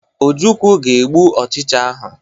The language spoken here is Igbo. Ojukwu ga egbu ochicha ahụ.